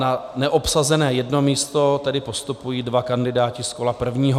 Na neobsazené jedno místo tedy postupují dva kandidáti z kola prvního.